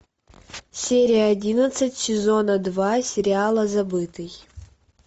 серия одиннадцать сезона два сериала забытый